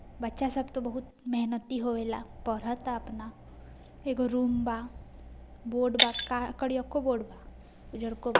बच्चा सब तो बहुत मेहनती होवेला | पढ़ता अपना एगो रूम बा बोर्ड बा | का कोरिअको बोर्ड बा उजरको बा |